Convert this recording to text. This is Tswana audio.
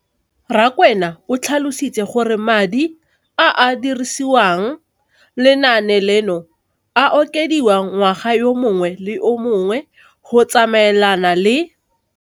Rakwena o tlhalositse gore madi a a dirisediwang lenaane leno a okediwa ngwaga yo mongwe le yo mongwe go tsamaelana le